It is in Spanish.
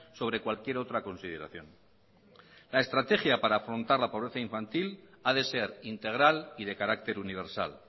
sobre cualquier otra consideración la estrategia para afrontar la pobreza infantil ha de ser integral y de carácter universal